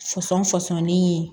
Fɔsɔn fɔsɔnnin ye